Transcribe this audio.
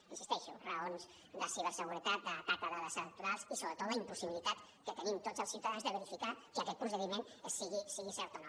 hi insisteixo raons de ciberseguretat d’atac a dades electorals i sobretot la impossibilitat que tenim tots els ciutadans de verificar que aquest procediment sigui cert o no